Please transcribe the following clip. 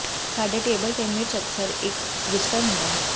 ਸਾਡੇ ਟੇਬਲ ਤੇ ਮਿਰਚ ਅਕਸਰ ਇੱਕ ਵਿਜ਼ਟਰ ਹੁੰਦਾ ਹੈ